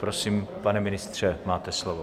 Prosím, pane ministře, máte slovo.